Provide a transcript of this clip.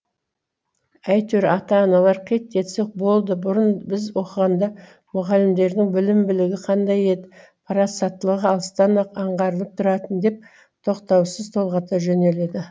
әйтеуір ата аналар қит етсе болды бұрын біз оқығанда мұғалімдердің білім білігі қандай еді парасаттылығы алыстан ақ аңғарылып тұратын деп тоқтаусыз толғата жөнеледі